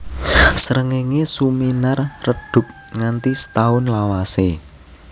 Srengéngé suminar redhup nganti setaun lawasé